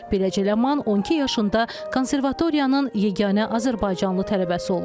Beləcə Ləman 12 yaşında Konservatoriyanın yeganə azərbaycanlı tələbəsi olur.